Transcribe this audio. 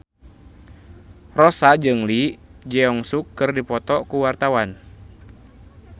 Rossa jeung Lee Jeong Suk keur dipoto ku wartawan